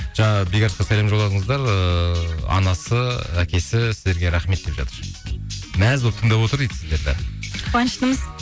жаңа бекарысқа сәлем жолдаңыздар ыыы анасы әкесі сіздерге рахмет деп жатыр мәз болып тыңдап отыр дейді сіздерді қуаныштымыз